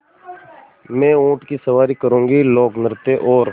मैं ऊँट की सवारी करूँगी लोकनृत्य और